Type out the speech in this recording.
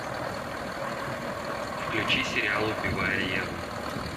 включи сериал убивая еву